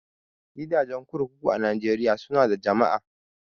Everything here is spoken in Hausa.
Gidajen kurkuku a Najeriya su na da jama'a